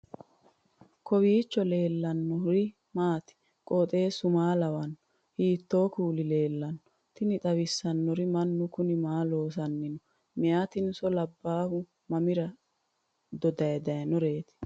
kowiicho leellannori maati ? qooxeessu maa lawaanno ? hiitoo kuuli leellanno ? tini xawissannori mannu kuni maa loosanni nooho meyatino labbahuno mamira dode dayinoreeti